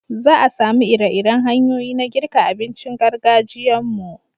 Za a samu iri-iren hanyoyi na girka abincin gargajiyan mu